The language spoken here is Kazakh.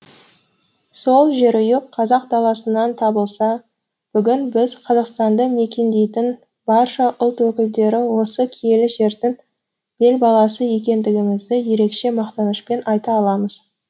сол жерұйық қазақ даласынан табылса бүгін біз қазақстанды мекендейтін барша ұлт өкілдері осы киелі жердің бел баласы екендігімізді ерекше мақтанышпен айта аламыз